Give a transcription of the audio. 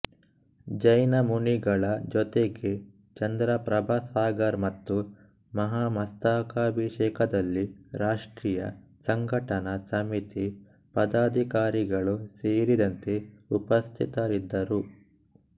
ಜೈನ ಮುನಿಗಳ ಜೊತೆಗೆ ಚಂದ್ರಪ್ರಭಸಾಗರ್ ಮತ್ತು ಮಹಾಮಸ್ತಕಾಭಿಷೇಕದಲ್ಲಿ ರಾಷ್ಟ್ರೀಯ ಸಂಘಟನಾ ಸಮಿತಿ ಪದಾಧಿಕಾರಿಗಳು ಸೇರಿದಂತೆ ಉಪಸ್ಥಿತರಿದ್ದರು